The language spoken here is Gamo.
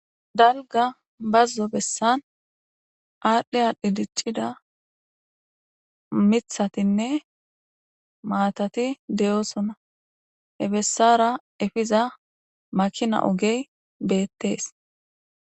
dalga bazzo bessan aadhdhe adhi diccida mithatinne maatati deyosona hebessara efiza makina ogey beettees